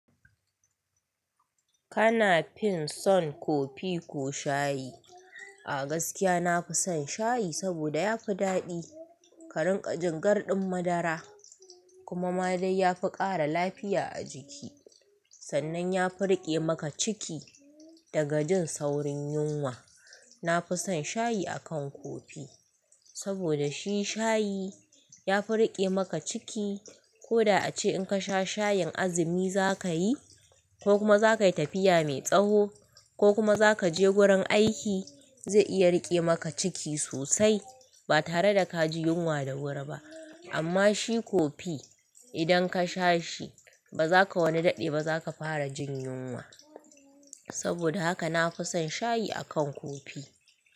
Kana fin son kofi ko shayi? A gaskiya nafi son shayi, saboda yafi daɗi, ka rinƙa jin gar ɗin madara, kuma maɗai yafi ƙara lafiya a jiki. Sannan ya fi riƙe maka ciki, da ga jin saurin yunwa. Nafison shayi akan kofi, saboda shi shayi ya fi riƙe maka ciki. Koda ace in ka sha shayin azumi zakayi, ko kuma zakayi tafiya mai tsawo, ko kuma zaka je gurin aiki, zai iya riƙe maka ciki sosai. Ba tare da ka ji yunwa da wuri ba. Amma shi kofi idan kasha shi ba zaka wani daɗe ba, zaka fara jin yunwa. Saboda haka nafi son shayi akan kofi.